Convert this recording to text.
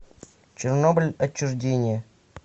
чернобыль отчуждение